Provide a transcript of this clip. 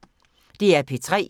DR P3